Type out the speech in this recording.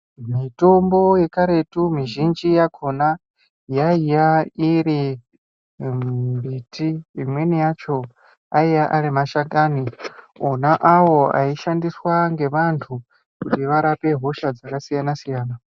Mitombo yekaretu mizhinji yakhona yaiya iri mimbiti. Imweni yacho aiya ari mashakani ona awo aishandiswa ngeantu kuti varape hosha dzakasiyana siyana.